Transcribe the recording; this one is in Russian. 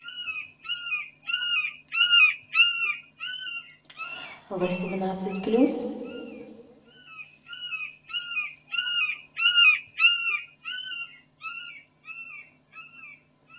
восемнадцать плюс